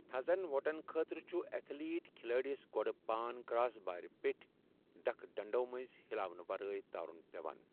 تھزن وۄٹن خٲطرٕ چھُ ایتھلیٹ كھِلٲڈِس گوڈٕ پان كراس بارٕ پیٹھۍ ، ڈٕكھہٕ ڈنڈٕو منز ہِلاونہٕ ورٲیی تارُن پیوان ۔